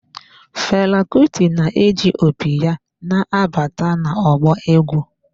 Fela Kuti na-eji opi ya na-abata na ọgbọ egwu.